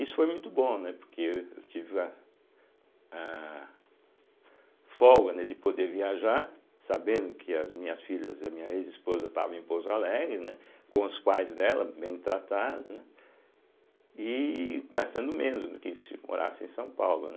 Isso foi muito bom, né porque eu eu tive a aah folga né de poder viajar, sabendo que as minhas filhas e a minha ex-esposa estavam em Pouso Alegre, né, com os pais dela bem tratadas, né e gastando menos do que se morasse em São Paulo, né.